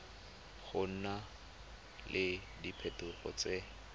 go na le diphetogo tse